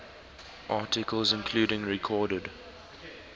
articles including recorded